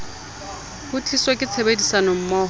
ho tliswa ke tshebedisanommoho e